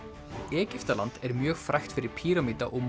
Egyptaland er mjög frægt fyrir píramída og